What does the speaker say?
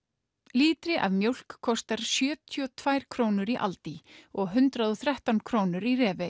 lítri af mjólk kostar sjötíu og tvær krónur í aldi og hundrað og þrettán krónur í